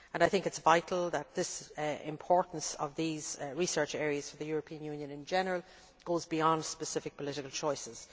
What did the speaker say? I think it is vital that the importance of these research areas for the European Union in general goes beyond specific political choices.